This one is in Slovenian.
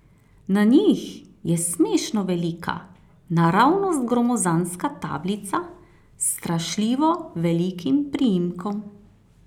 Na njih je smešno velika, naravnost gromozanska tablica s strašljivo velikim priimkom.